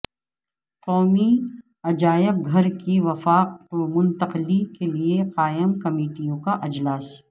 قومی عجائب گھرکی وفاق کومنتقلی کیلئے قائم کمیٹیوں کااجلاس